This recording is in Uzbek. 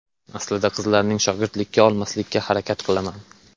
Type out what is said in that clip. Aslida qizlarni shogirdlikka olmaslikka harakat qilaman.